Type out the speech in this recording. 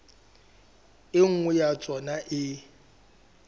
e nngwe ya tsona e